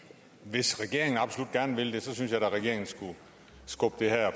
hvis regeringen absolut gerne vil det synes jeg da regeringen skulle skubbe det her